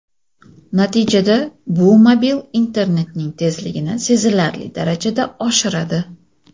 Natijada bu mobil internetning tezligini sezilarli darajada oshiradi.